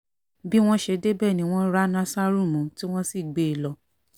bí wọ́n bí wọ́n ṣe débẹ̀ ni wọ́n rá násárù mú tí wọ́n sì gbé e lọ